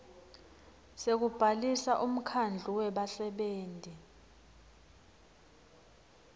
sekubhalisa umkhandlu webasebenti